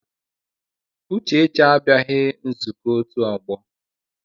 Uchechi abịaghị nzukọ otu ọgbọ.